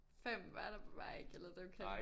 Fam var der bare ikke eller dem kendte